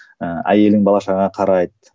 ііі әйелің бала шағаңа қарайды